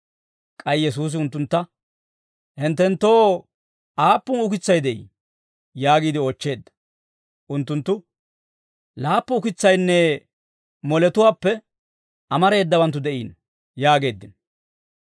K'ay Yesuusi unttuntta, «Hinttenttoo aappun ukitsay de'ii?» yaagiide oochcheedda. Unttunttu, «Laappu ukitsaynne moletuwaappe amareedawanttu de'iino» yaageeddino.